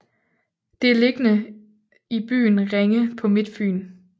Det er beliggende i byen Ringe på Midtfyn